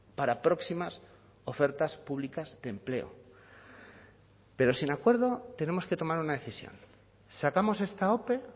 para próximas ofertas públicas de empleo pero sin acuerdo tenemos que tomar una decisión sacamos esta ope